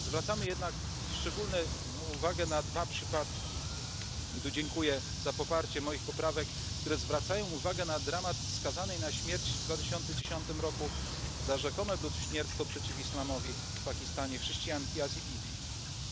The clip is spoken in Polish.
Zwracamy jednak szczególną uwagę na dwa przypadki i tu dziękuję za poparcie moich poprawek, które zwracają uwagę na dramat skazanej na śmierć w 2010 roku za rzekome bluźnierstwo przeciw islamowi chrześcijanki Asii Bibi w